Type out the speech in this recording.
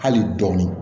Hali dɔɔni